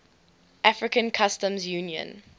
african customs union